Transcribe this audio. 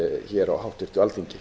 hér á háttvirtu alþingi